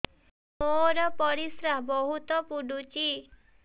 ମୋର ପରିସ୍ରା ବହୁତ ପୁଡୁଚି